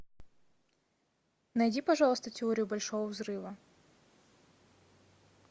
найди пожалуйста теорию большого взрыва